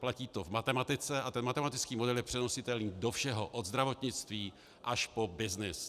Platí to v matematice a ten matematický model je přenositelný do všeho, od zdravotnictví až po byznys.